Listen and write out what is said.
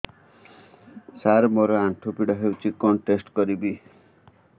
ସାର ମୋର ଆଣ୍ଠୁ ପୀଡା ହଉଚି କଣ ଟେଷ୍ଟ କରିବି